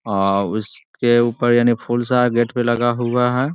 आ उसके ऊपर यानी फूल सा गेट पे लगा हुआ है।